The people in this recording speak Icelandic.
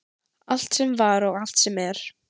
Allt sem var og allt sem er.